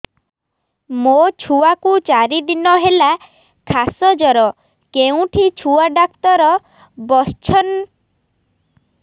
ମୋ ଛୁଆ କୁ ଚାରି ଦିନ ହେଲା ଖାସ ଜର କେଉଁଠି ଛୁଆ ଡାକ୍ତର ଵସ୍ଛନ୍